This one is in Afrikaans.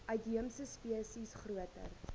uitheemse spesies groter